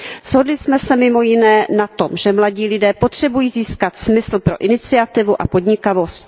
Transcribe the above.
Shodli jsme se mimo jiné na tom, že mladí lidé potřebují získat smysl pro iniciativu a podnikavost.